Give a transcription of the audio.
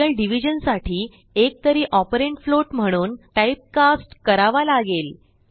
real division साठी एक तरी ऑपरंड फ्लोट म्हणून टाइप कास्ट करावा लागेल